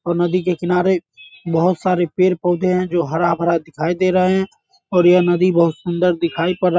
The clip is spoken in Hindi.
और नदी के किनारे बहुत सारे पेड़-पौधे हैं जो हरा-भरा दिखाई दे रहें हैं और यह नदी बहुत सुंदर दिखाई पड़ रहा --